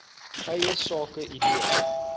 eie sake idee